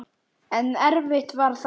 En erfitt var það.